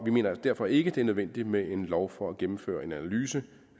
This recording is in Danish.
vi mener derfor ikke det er nødvendigt med en lov for at gennemføre en analyse